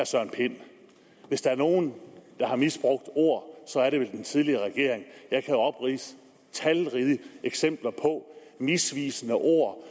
søren pind at hvis der er nogen der har misbrugt ord så er det vel den tidligere regering jeg kan opridse talrige eksempler på misvisende ord